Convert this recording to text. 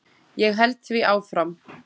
Ég held því áfram.